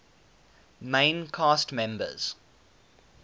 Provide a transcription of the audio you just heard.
main cast members